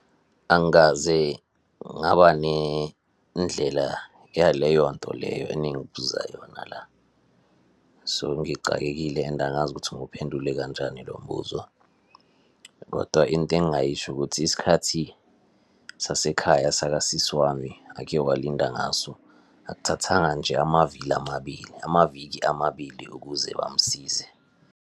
Angikaze ngaba nendlela yaleyo nto leyo eningibuza yona la, so ngicakekile, and angazi ukuthi ngiwuphendule kanjani lo mbuzo. Kodwa into engingayisho ukuthi isikhathi sasekhaya sakasisi wami ake walinda ngaso akuthathanga nje amavili amabili, amaviki amabili ukuze bamsize.